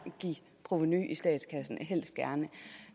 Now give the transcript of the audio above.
give provenu i statskassen